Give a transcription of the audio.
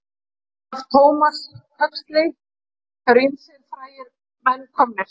Af Thomas Huxley eru ýmsir frægir menn komnir.